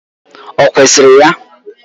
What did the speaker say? Ọ kwesịrị ya?